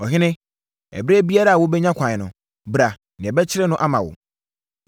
Ɔhene, ɛberɛ biara a wobɛnya kwan no, bra na yɛbɛkyere no ama wo.”